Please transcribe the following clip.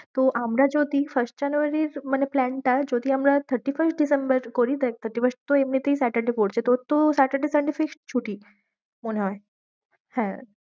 তো আমরা যদি first জানুয়ারির মানে plan টা যদি আমরা thirty-first ডিসেম্বর করি। দেখ thirty first তো এমনিতেই saturday পড়ছে। তোর তো saturday, sunday fixed ছুটি মনে হয়। হ্যাঁ